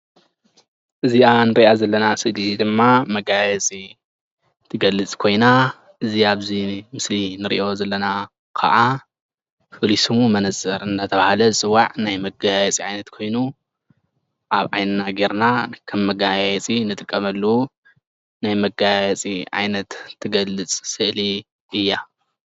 እዚኣ ንሪኣ ዘለና ምስሊ ድማ መጋያየፂ እትገልፅ ኮይና እዚኣ አብዚ ምስሊ ንሪኦ ዘለና ከዓ ፉሉይ ስሙ መነፀር እናተባህል ዝፀዋዕ ናይ መጋየፂ ዓይነት ኮይኑ አብ ዓይኒና ገይርና ከም መጋየፂ እንጥቀመሉ ናይ መገያየፂ ዓይነት እትገልፅ ዓይነት ስእሊ እያ፡፡